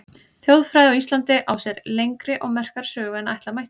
Þjóðfræði á Íslandi á sér lengri og merkari sögu en ætla mætti.